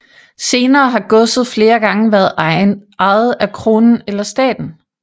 Senere har godset flere gange været ejet af kronen eller staten